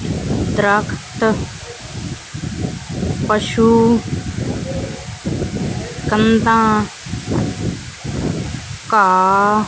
ਦਰਖਤ ਪਸ਼ੂ ਕੰਧਾਂ ਘਾਹ--